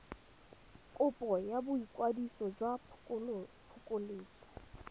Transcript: kopo ya boikwadiso jwa phokoletso